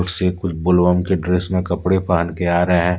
के ड्रेस में कपड़े पहन के आ रहे हैं।